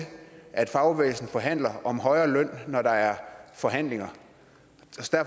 at fagbevægelsen forhandler om højere løn når der er forhandlinger